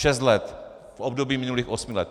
Šest let v období minulých osmi let.